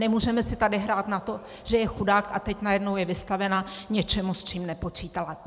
Nemůžeme si tady hrát na to, že je chudák a teď najednou je vystavena něčemu, s čím nepočítala.